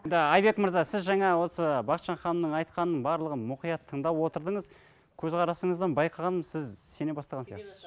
айбек мырза сіз жаңа осы бақытжан ханымның айтқанын барлығын мұқият тыңдап отырдыңыз көзқарасыңыздан байқағаным сіз сене бастаған сияқтысыз